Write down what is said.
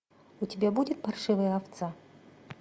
у тебя будет паршивая овца